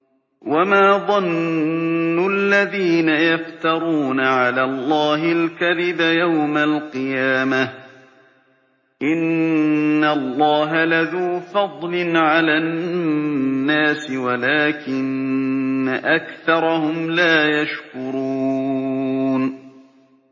وَمَا ظَنُّ الَّذِينَ يَفْتَرُونَ عَلَى اللَّهِ الْكَذِبَ يَوْمَ الْقِيَامَةِ ۗ إِنَّ اللَّهَ لَذُو فَضْلٍ عَلَى النَّاسِ وَلَٰكِنَّ أَكْثَرَهُمْ لَا يَشْكُرُونَ